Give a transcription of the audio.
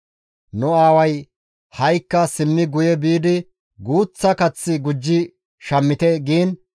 «Nu aaway, ‹Ha7ikka simmi guye biidi guuththa kath gujji shammite› giin,